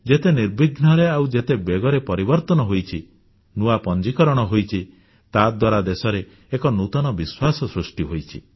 ଯେତେ ନିର୍ବିଘ୍ନରେ ଆଉ ଯେତେ ବେଗରେ ପରିବର୍ତ୍ତନ ହୋଇଛି ନୂଆ ପଞ୍ଜିକରଣ ହୋଇଛି ତାଦ୍ୱାରା ଦେଶରେ ଏକ ନୂତନ ବିଶ୍ୱାସ ସୃଷ୍ଟି ହୋଇଛି